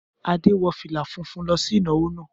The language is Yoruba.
Adé wọ fìlà funfun lọ sí ìnáwó náà.